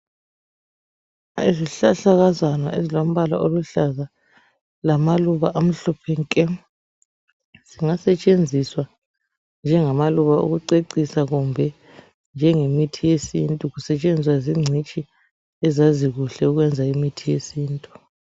Izihlahlakazana ezilombala oluhlaza lamaluba amhlophe nke. Zingasetshenziswa njengamaluba okucecisa kumbe njengemithi yesintu kusetshenziswa zingcitshi ezazi kuhle ukwenza imithi yesintu.